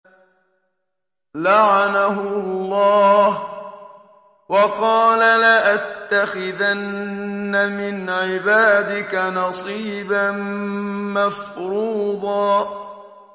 لَّعَنَهُ اللَّهُ ۘ وَقَالَ لَأَتَّخِذَنَّ مِنْ عِبَادِكَ نَصِيبًا مَّفْرُوضًا